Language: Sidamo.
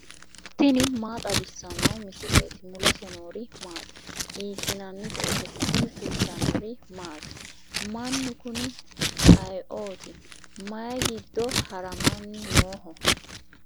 tini maa xawissanno misileeti ? mulese noori maati ? hiissinannite ise ? tini kultannori maati? Mannu kunni ayiootti? mayi giddo harammanni nooho?